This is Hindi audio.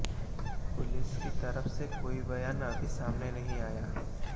पुलिस की तरफ से कोई बयान अभी सामने नहीं आया है